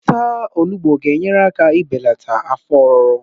Ịta onugbu ga-enyere aka ibelata afọ ọruru